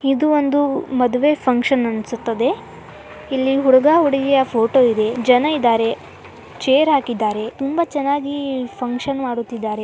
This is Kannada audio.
ಇದು ಒಂದು ಮದುವೆ ಫಂಕ್ಷನ್ ಅನ್ಸುತ್ತದೆ ಇಲ್ಲಿ ಹುಡುಗ ಹುಡುಗಿ ಫೋಟೋ ಇದೇ ಜನ ಇದ್ದಾರೆ ಚೇರ್ ಹಾಕಿದ್ದಾರೆ ತುಂಬಾ ಚೆನ್ನಾಗಿ ಫಂಕ್ಷನ್ ಮಾಡುತಿದ್ದಾರೆ.